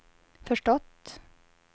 förstått